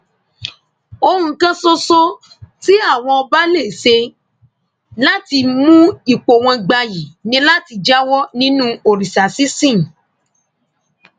ohun kan ṣoṣo tí àwọn ọba lè ṣe láti mú ipò wọn gbayì ni láti jáwọ nínú òrìṣà sísìn